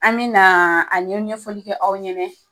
An me na a ɲɛfɔli kɛ aw ɲɛnɛ